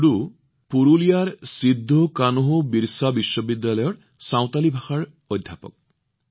টুডুজী পুৰুলিয়াৰ সিদ্ধোকানোবিৰচা বিশ্ববিদ্যালয়ৰ চাওতালী ভাষাৰ অধ্যাপক